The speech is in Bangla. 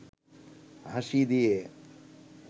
হাসি দিয়ে